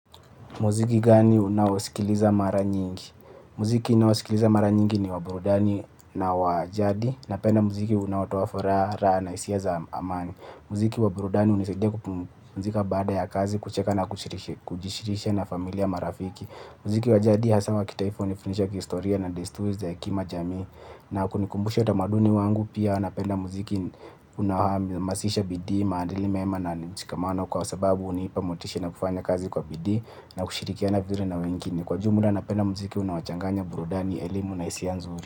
Muziki gani unaosikiliza mara nyingi. Muziki naosikiliza mara nyingi ni waburudani na wa jadi. Napenda muziki unao toa furaha na hisia za amani. Muziki waburudani hunisidia kupumzika baada ya kazi, kucheka na kujishirisha na familia marafiki. Muziki wa jadi hasa wa kitaifa hunifundisha historia na desturi za hekima za jamii. Na kunikumbusha utamaduni wangu pia napenda muziki unaohamasisha, bidii, maandili meema na mshikamano kwa sababu hunipa motishi na kufanya kazi kwa bidii na kushirikiana vizuri na wengini. Kwa jumla napenda muziki unaochanganya burudani, elimu na hisia nzuri.